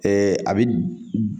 a bɛ